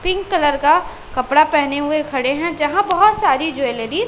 pink colour का कपड़ा पहने हुए खड़े हैं यहां बहुत सारी ज्वेलरी --